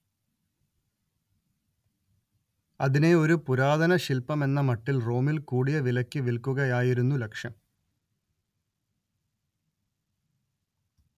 അതിനെ ഒരു പുരാതനശില്പമെന്നമട്ടിൽ റോമിൽ കൂടിയ വിലക്ക് വിൽക്കുകയായിരുന്നു ലക്ഷ്യം